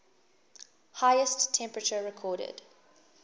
highest temperature recorded